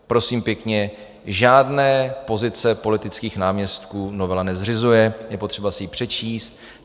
Prosím pěkně, žádné pozice politických náměstků novela nezřizuje, je potřeba si ji přečíst.